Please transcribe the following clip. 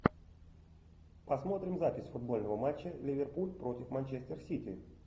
посмотрим запись футбольного матча ливерпуль против манчестер сити